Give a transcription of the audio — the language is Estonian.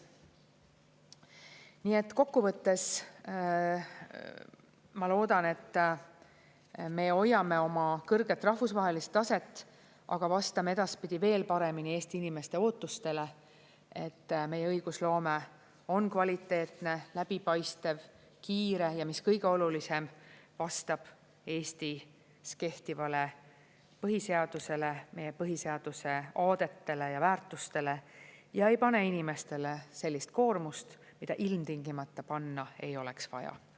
Nii et kokku võttes ma loodan, et me hoiame oma kõrget rahvusvahelist taset, aga vastame edaspidi veel paremini Eesti inimeste ootustele, et meie õigusloome on kvaliteetne, läbipaistev, kiire, ja mis kõige olulisem, vastab Eestis kehtivale põhiseadusele, meie põhiseaduse aadetele ja väärtustele ega pane inimestele sellist koormust, mida ilmtingimata panna ei oleks vaja.